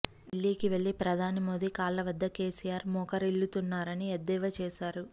ఢిల్లీకి వెళ్లి ప్రధాని మోదీ కాళ్ల వద్ద కేసీఆర్ మోకరిల్లుతున్నారని ఎద్దేవా చేశారు